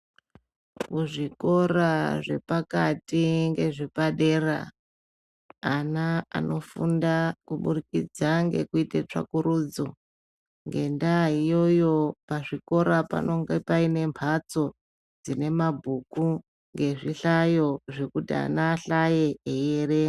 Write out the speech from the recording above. Muzvikora zvepakati ngezve padera, ana anofunda kuburikidza ngekuite tsvakurudzo, ngendaa iyoyo pazvikora panonge paine mbatso dzine mabhuku, ngezvihlayo zvekuti ana ahlaye eierenga.